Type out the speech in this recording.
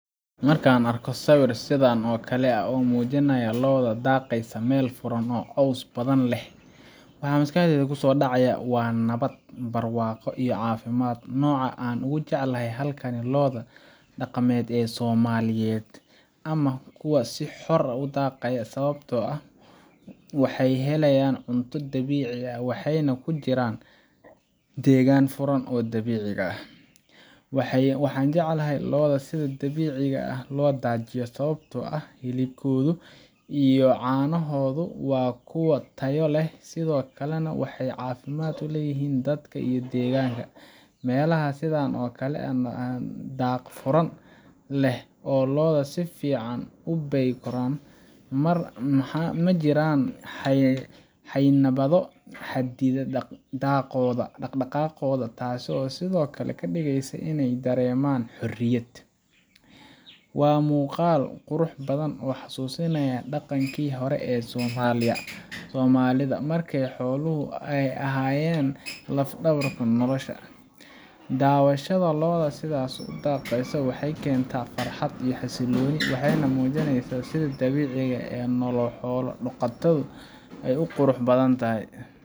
Marka aan arko sawir sidan oo kale ah oo muujinaya lo’ daaqaysa meel furan oo caws badan leh, waxa maskaxdayda kusoo dhacaya nabad, barwaaqo, iyo caafimaad. Nooca aan ugu jecelahay halkan waa lo’da dhaqameed ee Soomaaliyeed ama kuwa si xor ah u daaqaya, sababtoo ah waxay helayaan cunto dabiici ah, waxayna ku jiraan deegaan furan oo dabiiciga ah. Waxaan jecelahay lo’da sida dabiiciga ah loo daajiyo, sababtoo ah hilibkooda iyo caanahooda waa kuwo tayo leh, sidoo kalena waxay caafimaad u yihiin dadka iyo deegaanka. Meelaha sidan oo kale ah oo daaqa furan leh, lo’da si fiican bay u koraan, ma jiraan xayndaabyo xaddidaya dhaqdhaqaaqooda, taasoo sidoo kale ka dhigaysa inay dareemaan xorriyad. Waa muuqaal qurux badan oo xasuusinaya dhaqankii hore ee Soomaalida, markay xooluhu ahaayeen laf-dhabarta nolosha. Daawashada lo’da sidaas u daaqaysa waxay keentaa farxad iyo xasillooni, waxayna muujinaysaa sida dabiiciga ah ee nolol xoolo-dhaqato ah u qurux badan tahay.